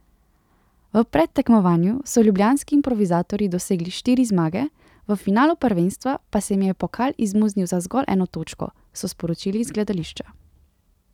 V predtekmovanju so ljubljanski improvizatorji dosegli štiri zmage, v finalu prvenstva pa se jim je pokal izmuznil za zgolj eno točko, so sporočili iz gledališča.